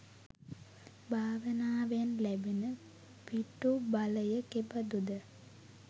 භාවනාවෙන් ලැබෙන පිටුබලය කෙබඳුද?